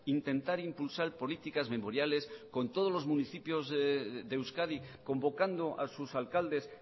intentar impulsar políticas memoriales con todos los municipios de euskadi convocando a sus alcaldes